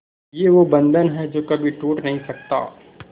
ये वो बंधन है जो कभी टूट नही सकता